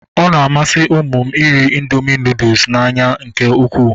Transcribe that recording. Ọ na-amasị ụmụ m iri indoomị nudụ n'anya nke ukwuu